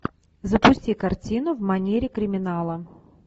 запусти картину в манере криминала